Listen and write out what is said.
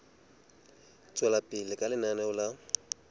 tswela pele ka lenaneo la